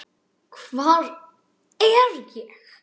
HVAR ER ÉG?